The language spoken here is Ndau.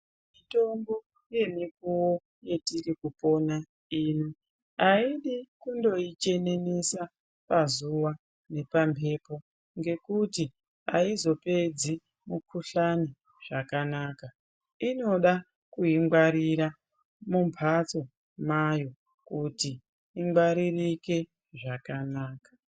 Mitombo yemukuwo yetiri kupina ino haidi kundoichenemesa pazuva nepambepo ngekuti aizopedzi mikhuhlani zvakanaka inoda kuingwarira mumbatso mayo kuti ingwaririre zvakanaka.